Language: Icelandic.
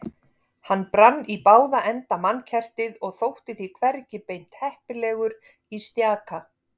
Hann brann í báða enda mannkertið og þótti því hvergi beint heppilegur í stjaka